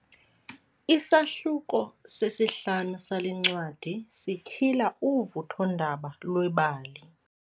Isahluko sesihlanu sale ncwadi sityhila uvuthondaba lwebali.